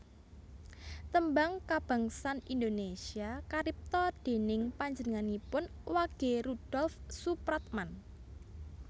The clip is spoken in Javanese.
Tembang Kabangsan Indonésia karipta déning panjenenganipun Wage Rudolf Soepratman